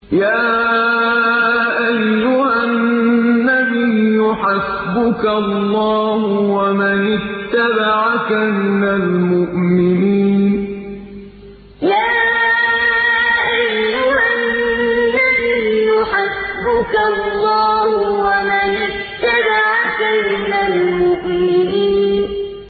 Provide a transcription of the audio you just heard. يَا أَيُّهَا النَّبِيُّ حَسْبُكَ اللَّهُ وَمَنِ اتَّبَعَكَ مِنَ الْمُؤْمِنِينَ يَا أَيُّهَا النَّبِيُّ حَسْبُكَ اللَّهُ وَمَنِ اتَّبَعَكَ مِنَ الْمُؤْمِنِينَ